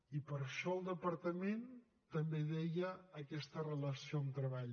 i per això el departament també deia aquesta relació amb treball